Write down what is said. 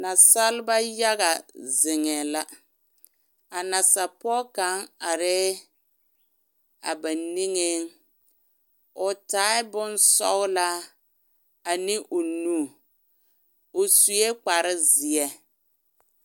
Naasaaleba yaga zeŋɛɛ la a nasapɔge kaŋ arɛɛ ba niŋeŋ o taa bonsɔgelaa ane o nu o sue kpare zeɛ